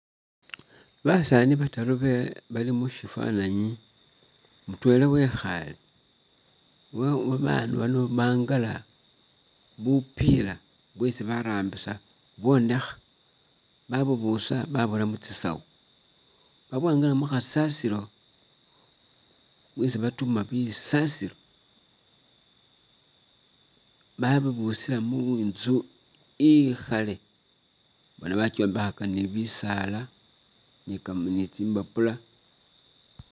Basaani bataru bali mushifananyi mutwela wekhale, abandu bano bangala bupila bwesi barambisa bwonekha babubusa babura mutsisawu, babwangala mukasasilo isi batima busasilo babubusila muntsu ikhale bona bakyombekhaka ni bisaala ni ka nitsimbapula